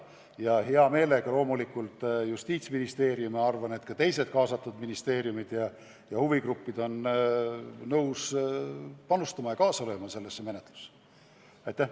Ja hea meelega loomulikult Justiitsministeerium ja ma arvan, et ka teised kaasatud ministeeriumid ja huvigrupid on nõus oma panuse andma ja selles menetluses kaasa lööma.